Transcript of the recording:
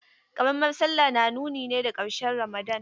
Ƙaramar sallah na nuni ne da ƙarshen Ramadan.